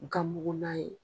Ganmugunan ye